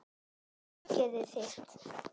Ógeðið þitt!